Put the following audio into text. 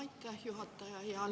Aitäh, juhataja!